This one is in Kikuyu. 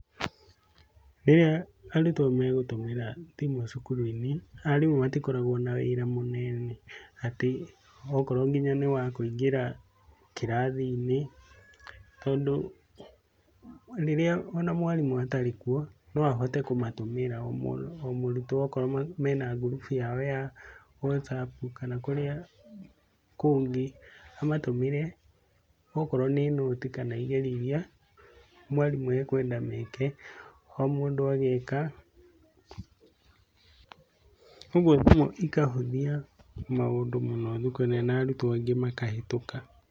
Rĩrĩa arutwo megũtũmĩra thimũ cukuru-inĩ, arimũ matikoragwo na wĩra mũnene atĩ okorwo nginya nĩ wa kũingĩra kĩrathi-inĩ, tondũ rĩrĩa o na mwarimũ atarĩ kuo, no ahote kũmatũmĩra o mũrutwo okorwo mena ngurubu yao ya whatsapp kana kũrĩa kũngĩ, amatũmĩre okorwo nĩ nũti, kana kũrĩa kana igerio iria mwarimũ ekwenda meke o mũndũ ageka, ũguo thimũ ikahũthia maũndũ mũno na arutwo aingĩ makahĩtũka.